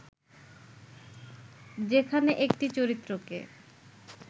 যেখানে একটি চরিত্রকে